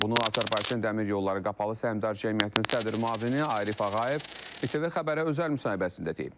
Bunu Azərbaycan dəmir yolları qapalı səhmdar cəmiyyətinin sədr müavini Arif Ağayev İTV xəbərə özəl müsahibəsində deyib.